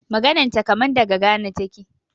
Maganan ta kaman daga Ghana taƙe.